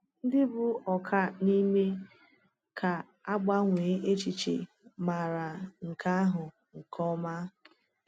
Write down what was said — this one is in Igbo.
Ndị bụ ọka n’ime ka a gbanwee èchìchè màrà nke àhụ nke ọma.